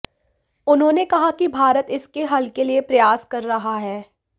उन्होंने कहा कि भारत इसके हल के लिए प्रयास कर रहा है